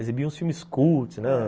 Exibia uns filmes cult, né?